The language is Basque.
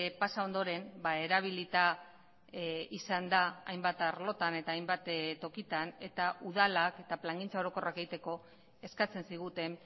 pasa ondoren erabilita izan da hainbat arlotan eta hainbat tokitan eta udalak eta plangintza orokorrak egiteko eskatzen ziguten